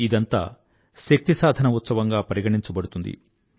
ఇదంతా శక్తి సాధన ఉత్సవంగా పరిగణించబడుతుంది